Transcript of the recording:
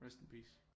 Rest in peace